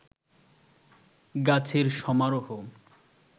গাছের সমারোহ